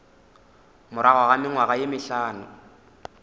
morago ga mengwaga ye mehlano